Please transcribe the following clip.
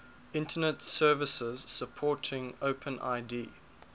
internet services supporting openid